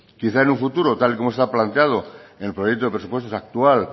quizás en un futuro tal y como está planteado en el proyecto de presupuestos actual